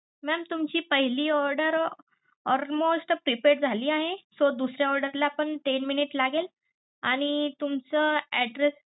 Mam तुमची पहिली order almost prepared झाली आहे. so दुसऱ्या order ला पण ten minute लागेल आणि तुमचं address